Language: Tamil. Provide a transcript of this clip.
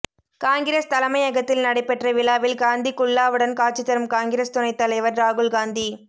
காங்கிரஸ் தலைமையகத்தில் நடைபெற்ற விழாவில் காந்தி குல்லாவுடன் காட்சி தரும் காங்கிரஸ் துணைத் தலைவர் ராகுல் காந்தி